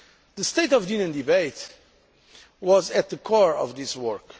The State of the Union debate was at the core of this work.